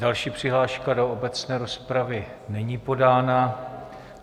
Další přihláška do obecné rozpravy není podána.